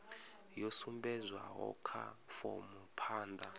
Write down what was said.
yo sumbedzwaho kha fomo phanda